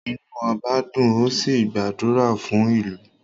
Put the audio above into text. Inu oba n dùn, ó sì ń gbàdúrà fún ìlú